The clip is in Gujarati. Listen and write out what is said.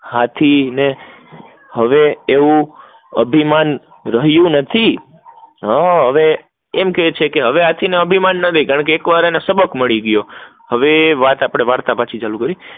હાથી ને હવે એવુ અભિમાન રહીયુ નથી હવે એમ કેહ છે કે હવે હાથી ને એવુ અભિમાન નથી કારણકે એક વાર એને સબક મળી ગયો હવે વાત આપડે વાર્તા પછી ચાલુ કરી